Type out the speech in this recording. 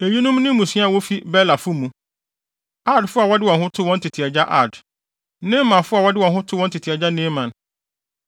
Eyinom ne mmusua a wofi Belafo mu; Ardfo a wɔde wɔn too wɔn tete agya Ard; Naamanfo a wɔde wɔn too wɔn tete agya Naaman.